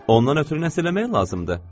Ondan ötrü nəsə eləmək lazımdır?